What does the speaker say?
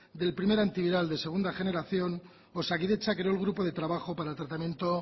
del primer antiviral de segunda generación osakidetza creó el grupo de trabajo para el tratamiento